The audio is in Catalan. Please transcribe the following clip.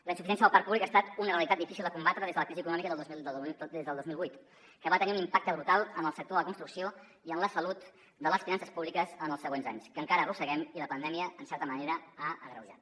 la insuficiència del parc públic ha estat una realitat difícil de combatre des de la crisi econòmica del dos mil vuit que va tenir un impacte brutal en el sector de la construcció i en la salut de les finances públiques en els següents anys que encara arrosseguem i que la pandèmia en certa manera ha agreujat